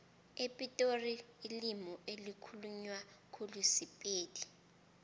epitori ilimi elikhulunywa khulu sipedi